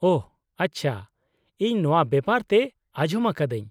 -ᱚᱦᱚ, ᱟᱪᱪᱷᱟ, ᱤᱧ ᱱᱚᱶᱟ ᱵᱮᱯᱟᱨ ᱛᱮ ᱟᱡᱚᱢ ᱟᱠᱟᱫᱟᱹᱧ ᱾